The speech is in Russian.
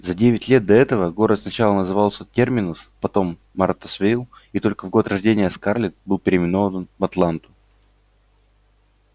за девять лет до этого город сначала назывался терминус потом мартасвилл и только в год рождения скарлетт был переименован в атланту